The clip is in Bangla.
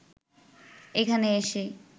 এখানে এসে